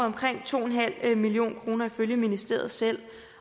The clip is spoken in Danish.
omkring to en halv million kroner ifølge ministeriet selv